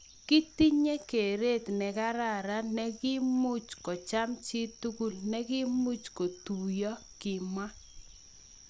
�kitinye keret negararan negiimuch kocham chitugul negiimuch kotuyo�,kimwa